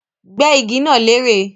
Gbẹ́ igi náà lérè